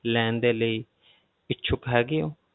ਲੈਣ ਦੇ ਲਈ ਇੱਛੁਕ ਹੈਗੇ ਹੋ?